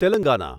Telangana